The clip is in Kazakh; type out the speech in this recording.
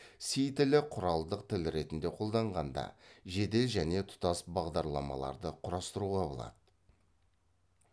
си тілі құралдық тіл ретінде қолданғанда жедел және тұтас бағдарламаларды құрастыруға болады